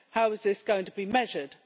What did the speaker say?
How is this going to be measured?